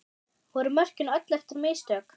Voru mörkin öll eftir mistök?